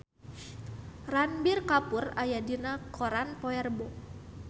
Ranbir Kapoor aya dina koran poe Rebo